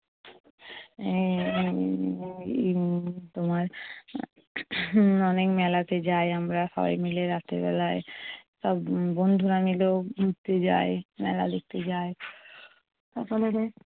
আহ উম তোমার অনেক মেলাতে যাই আমরা সবাই মিলে রাতের বেলায়। সব বন্ধুরা মিলেও ঘুরতে যায়, মেলা দেখতে যায়।